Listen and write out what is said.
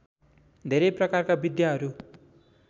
धेरै प्रकारका विद्याहरू